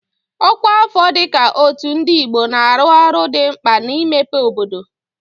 Ọkwa afọ dị ka Otu Ndi Igbo na-arụ ọrụ dị mkpa na-imepe obodo.